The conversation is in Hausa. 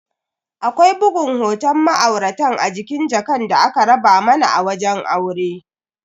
Akwai bugun hoton ma'auratan a jikin jakan da aka raba mana a wajen aure.